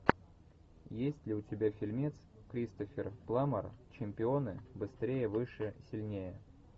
есть ли у тебя фильмец кристофер пламмер чемпионы быстрее выше сильнее